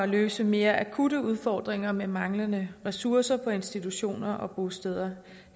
løse mere akutte udfordringer med manglende ressourcer på institutioner og bosteder